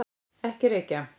Ekki reykja!